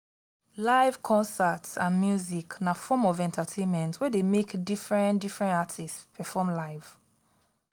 live concert and music na form of entertainment wey de make different different artists perform live